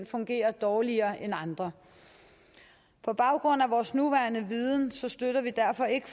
fungerer dårligere end andre på baggrund af vores nuværende viden støtter vi derfor ikke